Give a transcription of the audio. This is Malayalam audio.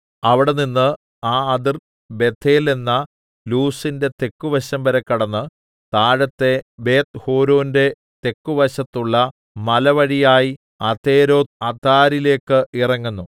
അവിടെനിന്ന് ആ അതിർ ബേഥേൽ എന്ന ലൂസിന്റെ തെക്കുവശംവരെ കടന്ന് താഴത്തെ ബേത്ത്ഹോരോന്റെ തെക്കുവശത്തുള്ള മലവഴിയായി അതെരോത്ത്അദാരിലേക്ക് ഇറങ്ങുന്നു